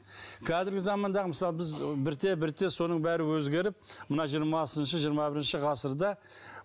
қазіргі замандағы мысалы біз бірте бірте соның бәрі өзгеріп мына жиырмасыншы жиырма бірінші ғасырда